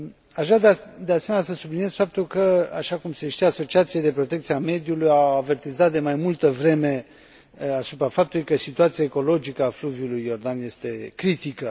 Aș vrea, de asemenea, să subliniez faptul că, așa cum se știe, asociațiile de protecția mediului au avertizat de mai multă vreme asupra faptului că situația ecologică a fluviului Iordan este critică.